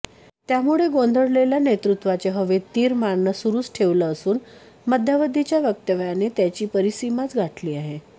त्यामुळे गोंधळलेल्या नेतृत्वाने हवेत तीर मारणं सुरूच ठेवलं असून मध्यावधीच्या वक्तव्याने त्याची परिसीमाच गाठली आहे